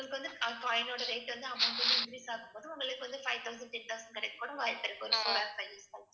உங்களுக்கு வந்து ah coin ஓட rate வந்து amount வந்து increase ஆகும்போது உங்களுக்கு வந்து five thousand, ten thousand கிடைக்கக்கூட வாய்ப்பு இருக்கு .